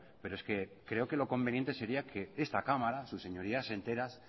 pero es que creo que lo conveniente sería que esta cámara sus señorías enteras